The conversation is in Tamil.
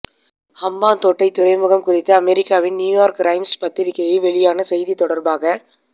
ஹம்பாந்தோட்டை துறைமுகம் குறித்து அமெரிக்காவின் நியூயோர்க் ரைம்ஸ் பத்திரிகையில் வெளியான செய்தி தொடர்பாக